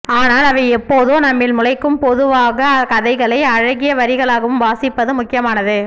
ஆனால் அவை எப்போதோ நம்மில் முளைக்கும் பொதுவாக கதைகளை அழகிய வரிகளாகவும் வாசிப்பது முக்கியமானது